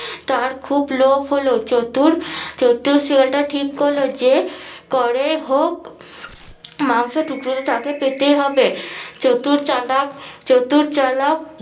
তার খুব লোভ হলো চতুর চতুর শেয়াল টা ঠিক করলো যে করে হোক মাংস টুকরোটি তাকে পেতেই হবে চতুর চালাক চতুর চালাক